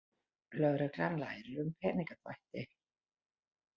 Lögreglan lærir um peningaþvætti